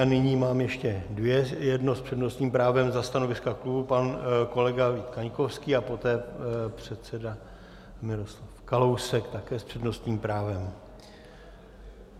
A nyní mám ještě dvě, jedno s přednostním právem za stanoviska klubu pan kolega Vít Kaňkovský a poté předsedy Miroslav Kalousek, také s přednostním právem.